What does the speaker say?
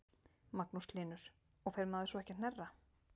Magnús Hlynur: Og fer maður svo ekki að hnerra?